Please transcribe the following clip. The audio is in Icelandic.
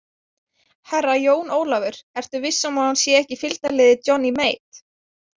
Herra Jón Ólafur, ertu viss um að hún sé ekki í fylgdarliði Johnny Mate?